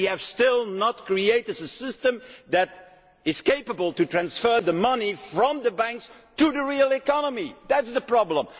We have still not created a system that is capable of transferring the money from the banks to the real economy that is the problem.